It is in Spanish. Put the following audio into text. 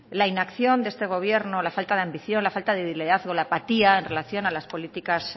la inacción de este gobierno la falta de ambición la falta de liderazgo la apatía en relación a las políticas